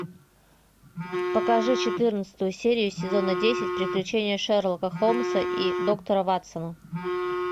покажи четырнадцатую серию сезона десять приключения шерлока холмса и доктора ватсона